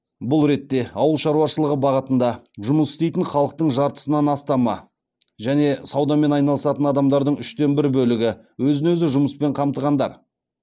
бұл ретте ауыл шаруашылығы бағытында жұмыс істейтін халықтың жартысынан астамы және саудамен айналысатын адамдардың үштен бір бөлігі өзін өзі жұмыспен қамтығандар